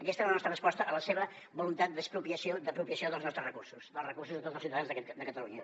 aquesta és la nostra resposta a la seva voluntat d’expropiació d’apropiació dels nostres recursos dels recursos de tots els ciutadans de catalunya